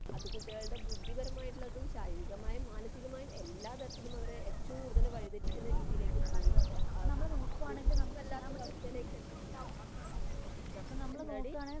അത് കുട്ടികളുടെ ബുദ്ധിപരമായിട്ടുളതും ശാരീരികമായും, മാനസികമായും എല്ലാ തരത്തിലും അവരെ ഏറ്റവും കൂടുതൽ വഴി തെറ്റിക്കുന്ന രീതിയിലേക്ക് പോയി. ഒന്നിനും അല്ലാത്ത ഒരവസ്ഥയിലേക്ക് എത്തിക്കുകയാണ്. എന്താടി?